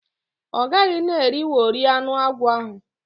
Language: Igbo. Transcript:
O gaghi na eriwori anu akwo ahu.